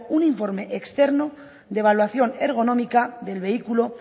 un informe externo de evaluación ergonómica del vehículo